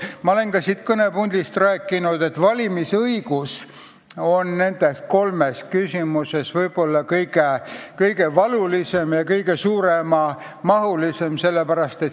Ma olen ka siit kõnepuldist rääkinud, et valimisõiguse probleem on nende kolme küsimuse seas võib-olla kõige valulisem ja puudutab kõige enamaid inimesi.